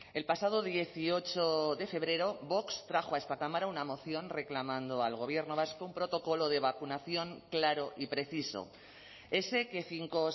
el pasado dieciocho de febrero vox trajo a esta cámara una moción reclamando al gobierno vasco un protocolo de vacunación claro y preciso ese que cinco